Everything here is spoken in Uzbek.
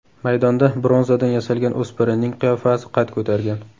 Maydonda bronzadan yasalgan o‘spirinning qiyofasi qad ko‘targan.